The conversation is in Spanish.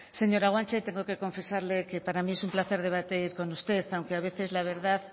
señora guanche tengo que confesarle que para mí es un placer debatir con usted aunque a veces la verdad